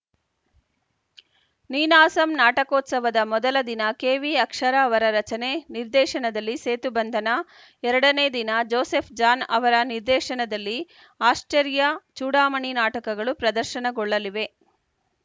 ನೀನಾಸಂ ನಾಟಕೋತ್ಸವದ ಮೊದಲ ದಿನ ಕೆವಿಅಕ್ಷರ ಅವರ ರಚನೆ ನಿರ್ದೇಶನದಲ್ಲಿ ಸೇತುಬಂಧನ ಎರಡ ನೇ ದಿನ ಜೋಸೆಫ್‌ ಜಾನ್‌ ಅವರ ನಿರ್ದೇಶನದಲ್ಲಿ ಆಶ್ಚರ್ಯ ಚೂಡಾಮಣಿ ನಾಟಕಗಳು ಪ್ರದರ್ಶನಗೊಳ್ಳಲಿವೆ